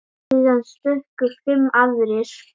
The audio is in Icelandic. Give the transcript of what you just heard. Síðan stukku fimm aðrir.